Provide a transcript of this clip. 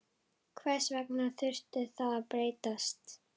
Hvers vegna þurfti það að breytast?